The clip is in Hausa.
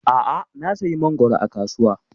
A'a, na sayi mangoro a kasuwa.